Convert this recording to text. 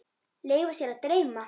Leyfa sér að dreyma.